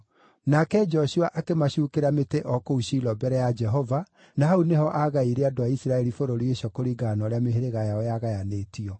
Nake Joshua akĩmacuukĩra mĩtĩ o kũu Shilo mbere ya Jehova, na hau nĩho aagaĩire andũ a Isiraeli bũrũri ũcio kũringana na ũrĩa mĩhĩrĩga yao yagayanĩtio.